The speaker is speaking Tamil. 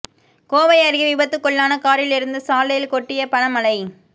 கோவை அருகே விபத்துக்குள்ளான காரில் இருந்து சாலையில் கொட்டிய பண மழை